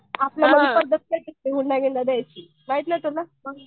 आपल्या पद्धत नाही हुंडा बिंडा द्यायची माहित नाही तुला.